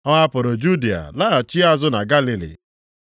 Ọ hapụrụ Judịa laghachi azụ na Galili.